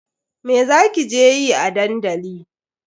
Me za ki je yi a dandali?